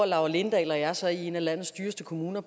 laura lindahl og jeg så i en af landets dyreste kommuner og